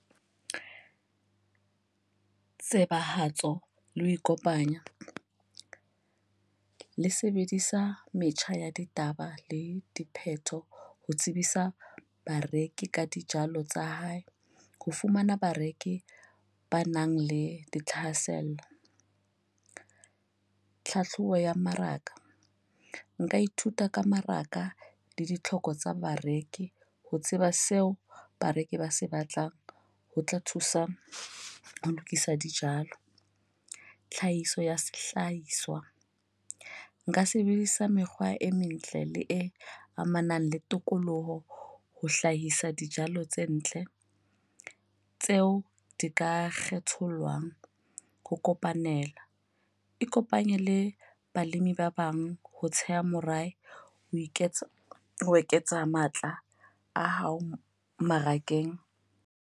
Tsebahatso ho le ho ikopanya le sebedisa metjha ya ditaba le dipheto ho tsebisa bareki ka dijalo tsa hae. Ho fumana bareki ba nang le dithahasello. Tlhahlobo ya mmaraka, nka ithuta ka maraka le ditlhoko tsa bareki ho tseba seo bareki ba se batlang ho tla thusa ho lokisa dijalo. Tlhahiso ya sehlahiswa. Nka sebedisa mekgwa e mentle le e amanang le tokoloho ho hlahisa dijalo tse ntle tseo di ka kgethollwang. Ho kopanela, ikopanye le balemi ba bang ho tsheha morabe ho iketsa ho eketsa matla a hao mmarakeng.